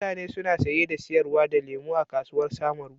Mutane suna saye da sayar da lemu a kasuwar samaru.